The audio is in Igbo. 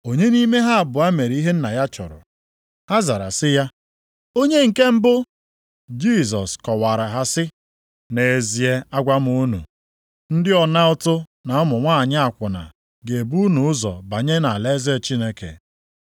“Onye nʼime ha abụọ mere ihe nna ya chọrọ?” Ha zara sị ya, “Onye nke mbụ.” Jisọs kọwaara ha sị, “Nʼezie agwa m unu, ndị ọna ụtụ na ụmụ nwanyị akwụna ga-ebu unu ụzọ banye nʼalaeze Chineke.